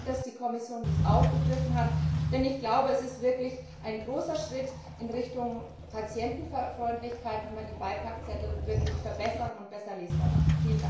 Vielen Dank, dass die Kommission dies aufgegriffen hat, denn ich glaube, es ist wirklich ein großer Schritt in Richtung Patientenfreundlichkeit, wenn wir die Beipackzettel verbessern und besser lesbar machen!